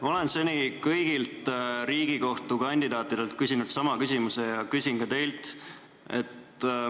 Ma olen seni kõigilt Riigikohtu liikme kandidaatidelt küsinud sama küsimuse ja küsin ka teilt.